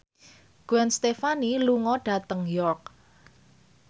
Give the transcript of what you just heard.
Gwen Stefani lunga dhateng York